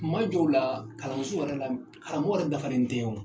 Kuma jɔ la kalanso yɛrɛ la karamɔgɔ yɛrɛ dafalen tɛ o